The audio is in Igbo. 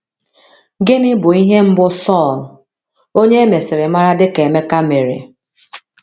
Gịnị bụ ihe mbụ Sọl — onye e mesịrị mara dị ka Emeka — mere?